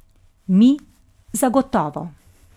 Mi zagotovo!